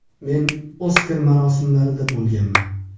Men ‘Oskar’ marosimlarida bo‘lganman.